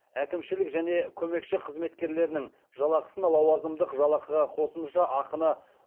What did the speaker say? әкімшілік және көмекші қызметкерлерінің жалақысын лауазымдық жалақыға қосымша ақыны